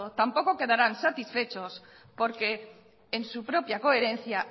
tampoco quedarás satisfechos porque en su propia coherencia